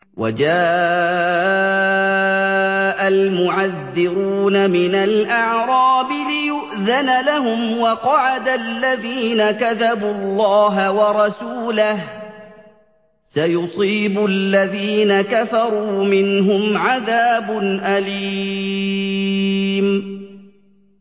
وَجَاءَ الْمُعَذِّرُونَ مِنَ الْأَعْرَابِ لِيُؤْذَنَ لَهُمْ وَقَعَدَ الَّذِينَ كَذَبُوا اللَّهَ وَرَسُولَهُ ۚ سَيُصِيبُ الَّذِينَ كَفَرُوا مِنْهُمْ عَذَابٌ أَلِيمٌ